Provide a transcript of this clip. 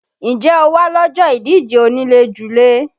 Ǹjẹ́ o wá lọ́jọ́ ìdíje onílé-julé?